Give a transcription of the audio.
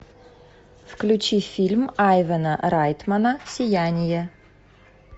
включи фильм айвена райтмана сияние